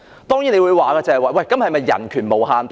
當然，有人會問道，人權是否無限大呢？